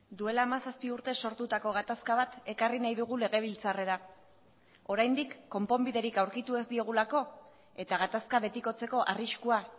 duela hamazazpi urte sortutako gatazka bat ekarri nahi dugu legebiltzarrera oraindik konponbiderik aurkitu ez diogulako eta gatazka betikotzeko arriskua